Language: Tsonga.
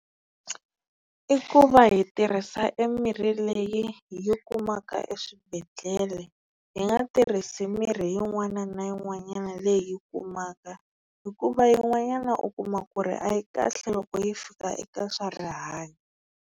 I ku va hi tirhisa e mirhi leyi hi yi kumaka eswibedhlele. Hi nga tirhisi mirhi yin'wana na yin'wanyana leyi hi yi kumaka hikuva yin'wanyana u kuma ku ri a yi kahle loko yi fika eka swa rihanyo.